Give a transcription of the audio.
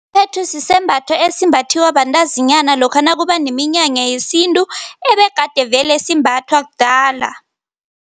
Phethu sisembatho esimbathiwa bantazinyana lokha nakuba neminyanya yesintu ebegade vele simbathwa kudala.